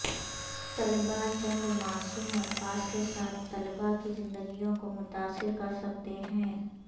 طلباء چند معصوم الفاظ کے ساتھ طلباء کی زندگیوں کو متاثر کرسکتے ہیں